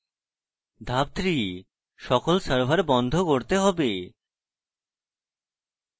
ধাপ 3: সকল সার্ভার বন্ধ করতে হবে